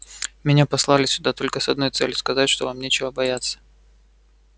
меня послали сюда только с одной целью сказать что вам нечего бояться